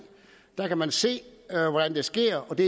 der kan man se at det sker og det